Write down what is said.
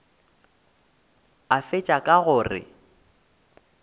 a fetša ka go re